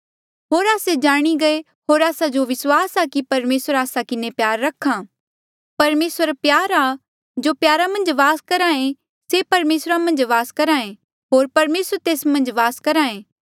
होर आस्से जाणी गये होर आस्सा जो विस्वास आ की परमेसर आस्सा किन्हें प्यार रख्हा परमेसर प्यार आ जो प्यारा मन्झ वास करहा ऐें से परमेसरा मन्झ वास करहा ऐें होर परमेसर तेस मन्झ वास करहा ऐें